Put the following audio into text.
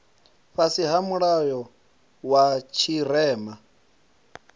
fhasi ha mulayo wa tshirema